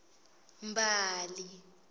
mbali